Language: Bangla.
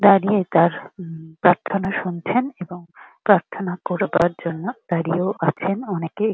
দাঁড়িয়ে তার উম প্রার্থনা শুনছেন এবং প্রার্থনা করবার জন্য দাঁড়িয়েও আছেন অনেকে।